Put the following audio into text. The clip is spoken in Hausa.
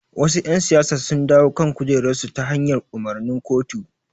Wasu ƴan siyasa sun dawo kan kujerarsu ta hanyar umarnin kotu.